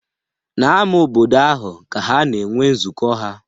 N'ámá obodo ahụ ka ha na-enwe nzukọ ha.